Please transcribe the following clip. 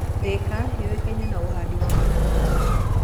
Thika yũĩkaine na ũhandi wa mananathi